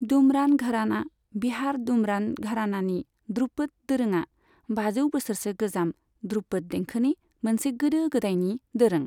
दुमरान घरानाः बिहार दुमरान घरानानि ध्रुपद दोरोङा बाजौ बोसोरसो गोजाम ध्रुपद देंखोनि मोनसे गोदो गोदायनि दोरों।